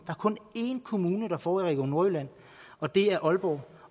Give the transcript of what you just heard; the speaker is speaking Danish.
kun er en kommune der får noget i region nordjylland og det er aalborg